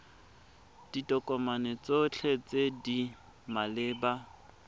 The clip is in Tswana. ditokomane tsotlhe tse di maleba